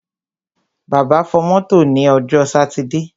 Bàbá fọ mọ́tò ní ọjọ́ sátidé.